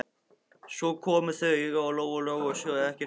Svo komu þau auga á Lóu Lóu og sögðu ekkert meira.